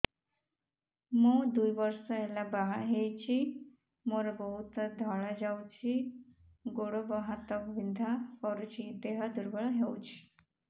ମୁ ଦୁଇ ବର୍ଷ ହେଲା ବାହା ହେଇଛି ମୋର ବହୁତ ଧଳା ଯାଉଛି ଗୋଡ଼ ହାତ ବିନ୍ଧା କରୁଛି ଦେହ ଦୁର୍ବଳ ହଉଛି